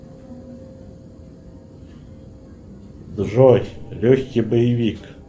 джой легкий боевик